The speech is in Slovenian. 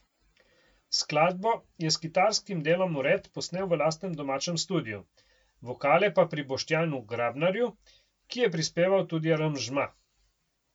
Skladbo je s kitarskim delom vred posnel v lastnem domačem studiu, vokale pa pri Boštjanu Grabnarju, ki je prispeval tudi aranžma.